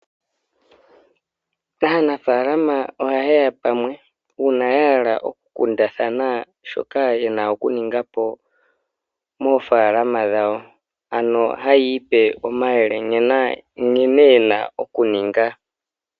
Aanafaalama oha ye ya pamwe uuna ya hala okukundathana shoka yena okuninga po moofaalama dhawo, ano haya ipe omayele nkene yena okuninga.